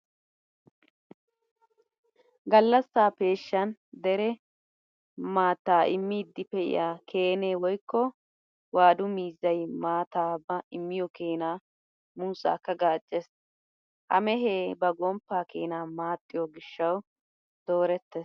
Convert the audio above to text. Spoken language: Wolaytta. Gallassa peeshshan dere maattaa immiiddi pee'iya Keene woykko waadu miizzay maattaa ba immiyo keenaa muussaakka gaaccees. Ha mehee ba gomppaa keenaa maaxxiyo gishshawu doorettees